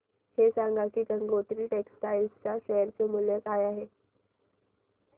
हे सांगा की गंगोत्री टेक्स्टाइल च्या शेअर चे मूल्य काय आहे